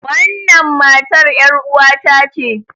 Wannan matar yaruwata ce.